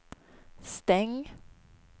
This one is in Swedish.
stäng